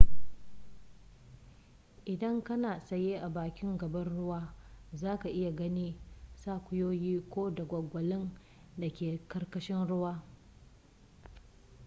idan kana tsaye a bakin gabar ruwa za ka iya ganin tsakuyoyi ko dagwalgwalin da ke karkashin ruwan